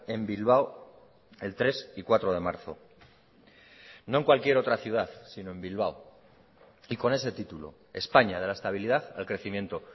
en bilbao el tres y cuatro de marzo no en cualquier otra ciudad sino en bilbao y con ese título españa de la estabilidad al crecimiento